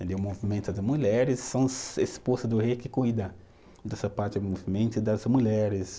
O movimento de mulheres são esposas do rei que cuida dessa parte do movimento das mulheres.